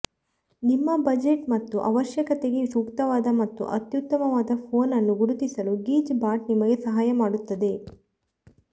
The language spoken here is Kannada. ನಿಮ್ಮ ಬಜೆಟ್ ಮತ್ತು ಅವಶ್ಯಕತೆಗೆ ಸೂಕ್ತವಾದ ಮತ್ತು ಅತ್ಯುತ್ತಮವಾದ ಫೋನ್ ಅನ್ನು ಗುರುತಿಸಲು ಗಿಜ್ ಬಾಟ್ ನಿಮಗೆ ಸಹಾಯ ಮಾಡುತ್ತದೆ